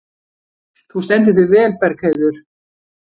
Þú stendur þig vel, Bergheiður!